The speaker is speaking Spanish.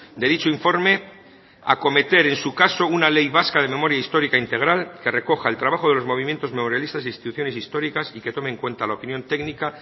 de dicho informe acometer en su caso una ley vasca de memoria histórica integral que recoja el trabajo de los movimientos memorialistas instituciones históricas y que tomen en cuenta la opinión técnica